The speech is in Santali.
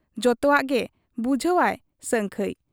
ᱡᱚᱛᱚᱣᱟᱜ ᱮ ᱵᱩᱡᱷᱟᱹᱣ ᱟ ᱥᱟᱹᱝᱠᱷᱟᱹᱭ ᱾